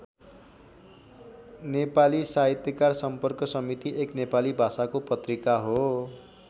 नेपाली साहित्यकार सम्पर्क समिति एक नेपाली भाषाको पत्रिका हो।